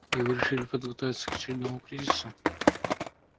и вы решили подготовиться к очередному кризису